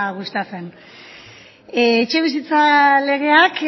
gustatzen etxebizitza legeak